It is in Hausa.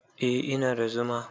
Eh, ina da zuma